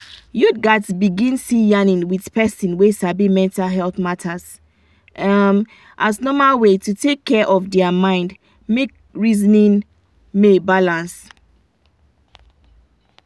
youth gats begin see yanin with person wey sabi mental health matters um as normal way to take care of their mind make reasoning ma balance.